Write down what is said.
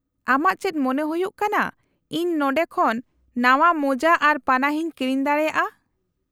-ᱟᱢᱟᱜ ᱪᱮᱫ ᱢᱚᱱᱮ ᱦᱩᱭᱩᱜ ᱠᱟᱱᱟ ᱤᱧ ᱱᱚᱸᱰᱮ ᱠᱷᱚᱱ ᱱᱟᱶᱟ ᱢᱳᱡᱟ ᱟᱨ ᱯᱟᱱᱟᱦᱤᱧ ᱠᱤᱨᱤᱧ ᱫᱟᱲᱮᱭᱟᱜᱼᱟ ?